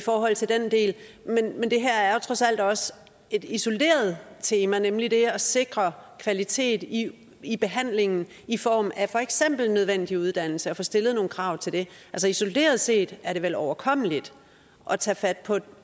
forhold til den del men det her er jo trods alt også et isoleret tema nemlig det at sikre kvalitet i i behandlingen i form af for eksempel nødvendig uddannelse og at få stillet nogle krav til det isoleret set er det vel overkommeligt at tage fat på